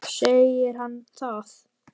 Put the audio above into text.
Segir hann það?